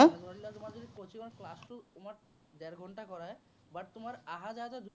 ধৰি লোৱা তোমাৰ যদি coaching ৰ class টো তোমাৰ ডেৰ ঘন্টা কৰায় but তোমাৰ আহা-যোৱাতে